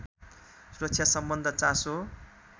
सुरक्षासम्बद्ध चासो